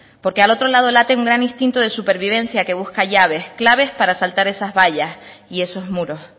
porque al otro lado late un gran instinto de supervivencia que busca llaves claves para saltar esas vallas y esos muros